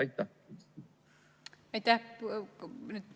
Aitäh!